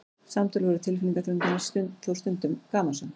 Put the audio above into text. Samtöl voru tilfinningaþrungin en þó stundum gamansöm.